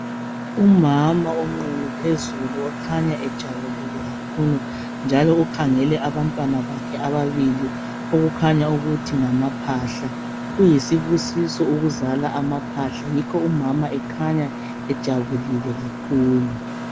Umama onqunu phezulu okhanya ejabulile kakhulu njalo ukhangele abantwana bakhe ababili okukhanya ukuthi ngamaphahla kuyisibusiso ukuzala amaphahla yikho umama ekhanya ejabulile kakhulu